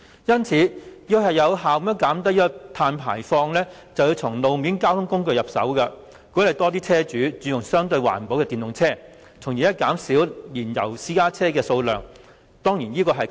要有效減低碳排放，我們須從路面交通工具入手，其中一個可行的方向是鼓勵車主轉用相對環保的電動車，從而減少燃油私家車的數量。